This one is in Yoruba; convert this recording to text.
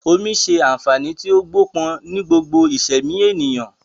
Omi ṣe àǹfààní tí ó gbó pọ̀n ni gbogbo ìsẹ̀mí ènìyàn